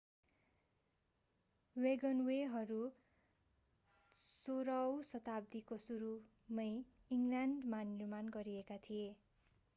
वेगनवेहरू 16 औँ शताब्दीको सुरुमै इङ्ग्ल्यान्डमा निर्माण गरिएका थिए